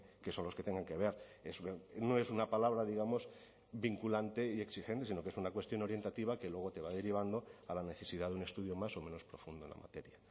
que son los que tengan que ver no es una palabra digamos vinculante y exigente sino que es una cuestión orientativa que luego te va derivando a la necesidad de un estudio más o menos profundo en la materia